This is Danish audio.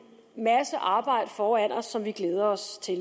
masse arbejde foran os som vi glæder os til